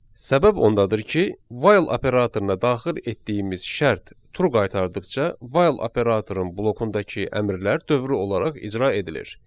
Səbəb ondadır ki, while operatoruna daxil etdiyimiz şərt true qaytardıqca, while operatorun blokundakı əmrlər dövrü olaraq icra edilir.